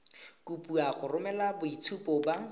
kopiwa go romela boitshupo ba